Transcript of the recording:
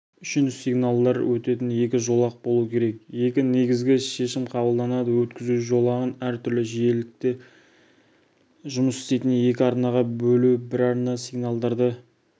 үшін сигналдар өтетін екі жолақ болу керек екі негізгі шешім қабылданады өткізу жолағын әртүрлі жиілікте жұмыс істейтін екі арнаға бөлу бір арна сигналдарды